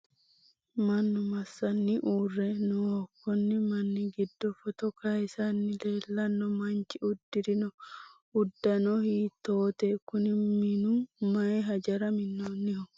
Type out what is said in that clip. mannu massanni uurre nooho konni manni giddo footo kayiisanni leellanno manchi uddirino uddano hiittoote? kuni minu maayi hajora minnoonniho ?